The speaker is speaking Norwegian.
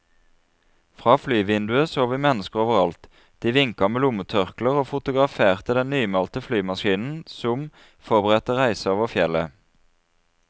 Fra flyvinduet så vi mennesker over alt, de vinket med lommetørkler og fotograferte den nymalte flymaskinen som som forberedte reisen over fjellet.